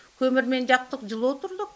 көмірмен жақтық жылы отырдық